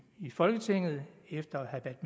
i folketinget efter at